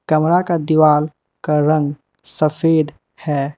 कमरा का दीवाल का रंग सफेद है।